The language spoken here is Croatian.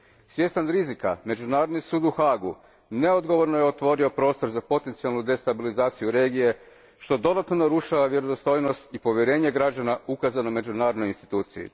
Svjestan rizika, Međunarodni sud u Haagu neodgovorno je otvorio prostor za potencijalnu destabilizaciju regije, što dodatno narušava vjerodostojnost i povjerenje građana ukazano međunarodnoj instituciji.